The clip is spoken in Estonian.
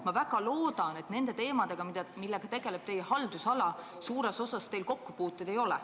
Ma väga loodan, et nende teemadega, millega tegeletakse teie haldusalas, teil suures osas kokkupuuteid ei ole.